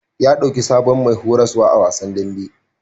Ya ɗauki sabon mai horaswa a wasan dambe.